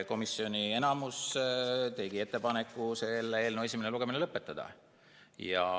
Komisjoni enamus tegi ettepaneku selle eelnõu esimene lugemine lõpetada.